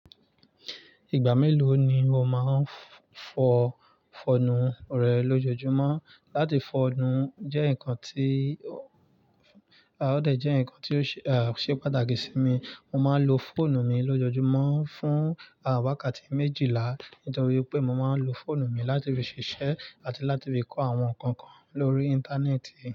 Ìgbà mélòó ni o máa ń fọ fọ́nù rẹ lójoojúmọ́? Látì fo nú jẹ́ nǹkan tí, ó dé, jẹ́ nǹkan tí ó ṣe pàtàkì sí mi. Mo máa ń lo fóònù mi lójoojúmọ́ fún à wákàtí méjìlá, nítorí pé mo máa ń lo fóònù mi láti fi ṣiṣẹ́ àti láti fi kọ àwọn nǹkan kan lórí Íńtánẹ́ẹ̀tì.